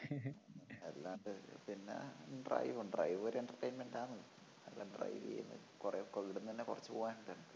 അല്ലാണ്ട് പിന്നെ drive drive ഉം ഒരു entertainment ആണ് അതല്ലേ drive ചെയ്യുന്നതു കൊറേ ഇവിടന്ന് തന്നെ കൊറച്ചു പോവാനുണ്ട്